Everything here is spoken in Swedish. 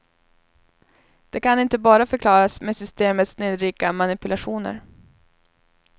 Det kan inte bara förklaras med systemets snillrika manipulationer.